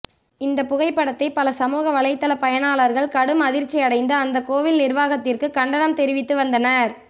இந்த புகைப்படத்தை பல சமூக வலைதள பயனாளர்கள் கடும் அதிர்ச்சி அடைந்த அந்த கோவில் நிர்வாகத்திற்கு கண்டனம் தெரிவித்து வந்தனர்